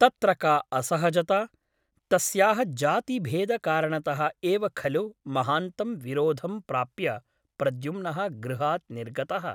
तत्र का असहजता ? तस्याः जातिभेदकारणतः एव खलु महान्तं विरोधं प्राप्य प्रद्युम्नः गृहात् निर्गतः ?